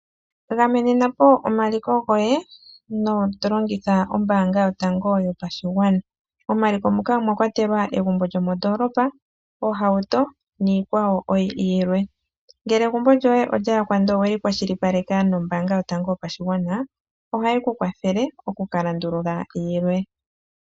Gamenenapo omaliko goye tolongitha ombaanga yotango yopashigwana . Momaliko muka omwakwatelwa omagumbo gomoondolopa, iitukutuku nayilwe. Ngele egumbo lyoye olyayakwa ndele oweli kwashilipaleka nombaanga yotango yopashigwana, ohaye ku kwathele okukalandula yilwe.